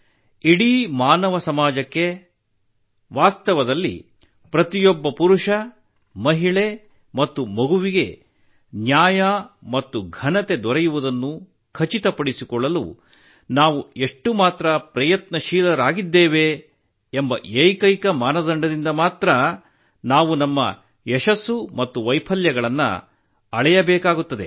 ಇಡೀ ಮಾನವ ಸಮಾಜಕ್ಕೆ ವಾಸ್ತವದಲ್ಲಿ ಪ್ರತಿಯೊಬ್ಬ ಪುರುಷ ಮಹಿಳೆ ಮತ್ತು ಮಗುವಿಗೆ ನ್ಯಾಯ ಮತ್ತು ಘನತೆ ದೊರೆಯುವುದನ್ನು ಖಚಿತಪಡಿಸಿಕೊಳ್ಳಲು ನಾವು ಎಷ್ಟು ಮಾತ್ರ ಪ್ರಯತ್ನಶೀಲರಾಗಿದ್ದೇವೆ ಎಂಬ ಏಕೈಕ ಮಾನದಂಡದಿಂದ ಮಾತ್ರಾ ನಾವು ನಮ್ಮ ಯಶಸ್ಸು ಮತ್ತು ವೈಫಲ್ಯಗಳನ್ನು ನಾವು ಅಳೆಯಬೇಕು